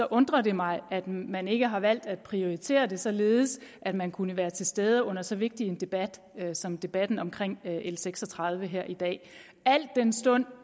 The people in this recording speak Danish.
undrer det mig at man ikke har valgt at prioritere det således at man kunne være til stede under så vigtig en debat som debatten om l seks og tredive her i dag al den stund